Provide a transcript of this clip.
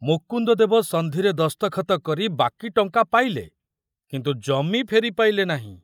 ମୁକୁନ୍ଦଦେବ ସନ୍ଧିରେ ଦସ୍ତଖତ କରି ବାକି ଟଙ୍କା ପାଇଲେ କିନ୍ତୁ ଜମି ଫେରି ପାଇଲେ ନାହିଁ।